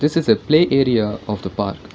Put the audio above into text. this is a play area of the park.